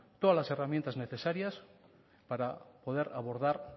todas las herramientas necesarias para poder abordar